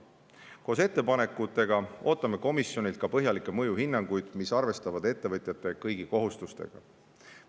Koos ettepanekutega ootame komisjonilt ka põhjalikke mõjuhinnanguid, mis arvestavad ettevõtjate kõigi kohustustega.